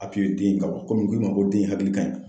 den kan komi n ko i ma ko den in hakili ka ɲi.